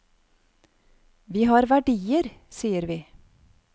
Vi har verdier, sier vi.